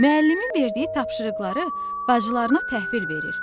Müəllimin verdiyi tapşırıqları bacılarına təhvil verir.